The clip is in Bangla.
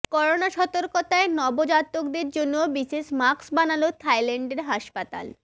করোনা সতর্কতায় নবজাতকদের জন্য বিশেষ মাস্ক বানাল থাইল্যান্ডের হাসপাতাল